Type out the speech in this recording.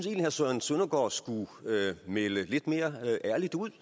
herre søren søndergaard skulle melde lidt mere ærligt ud